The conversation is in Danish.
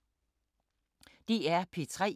DR P3